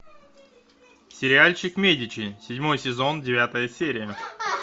сериальчик медичи седьмой сезон девятая серия